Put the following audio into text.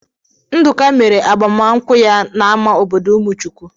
Nduka mere agbamankwụ ya n'ámá obodo umuchuwu.